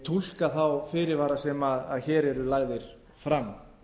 túlka þá fyrirvara sem hér eru lagðir fram